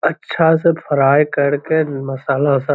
अच्छा से फ्राई करके मसाला-उसाला --